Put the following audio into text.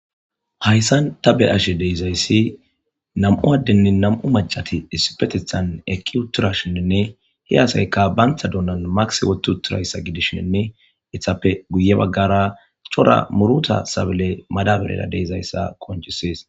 hayssan ta be ashe deizayssi nam7u addenni nam7u macati issipetithan eki utura shinninne hi haasayka bantha dunan makis wotu uturayssa gidishshinne ithappe guye baggara chora muruta sabile madabarera deizayssa konchisees